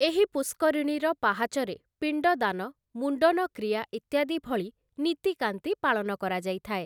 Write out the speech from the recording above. ଏହି ପୁଷ୍କରିଣୀର ପାହାଚରେ ପିଣ୍ଡଦାନ, ମୁଣ୍ଡନ କ୍ରିୟା ଇତ୍ୟାଦି ଭଳି ନୀତିକାନ୍ତି ପାଳନ କରାଯାଇଥାଏ ।